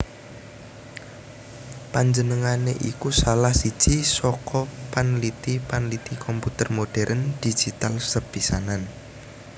Panjenengané iku salah siji saka panliti panliti komputer modhèrn digital sepisanan